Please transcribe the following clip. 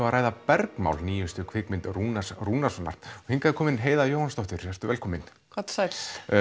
að ræða bergmál nýjustu kvikmynd Rúnars Rúnarssonar hingað er komin Heiða Jóhannsdóttir vertu velkomin komdu sæll